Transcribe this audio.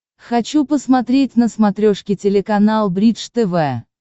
хочу посмотреть на смотрешке телеканал бридж тв